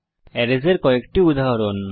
arrays এর কয়েকটি উদাহরণ